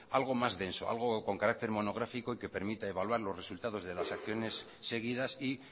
algo más denso algo con carácter monográfico y que permita evaluar los resultados de las acciones seguidas y